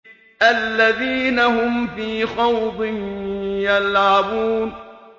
الَّذِينَ هُمْ فِي خَوْضٍ يَلْعَبُونَ